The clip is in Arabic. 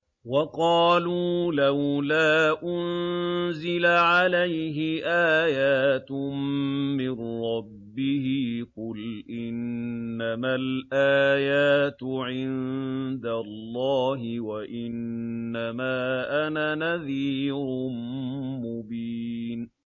وَقَالُوا لَوْلَا أُنزِلَ عَلَيْهِ آيَاتٌ مِّن رَّبِّهِ ۖ قُلْ إِنَّمَا الْآيَاتُ عِندَ اللَّهِ وَإِنَّمَا أَنَا نَذِيرٌ مُّبِينٌ